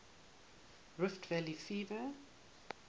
rift valley fever